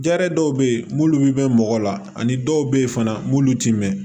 Jaɛrɛ dɔw bɛ ye n'olu bɛ mɛn mɔgɔ la ani dɔw bɛ yen fana mulu ti mɛn